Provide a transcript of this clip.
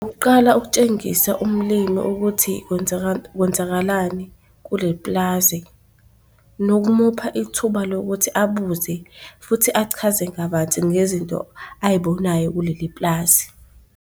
Okokuqala, ukukutshengisa umlimi ukuthi kwenzakalani kuleli pulazi nokumupha ithuba lokuthi abuze futhi achaze kabanzi ngezinto ay'bonayo kuleli pulazi.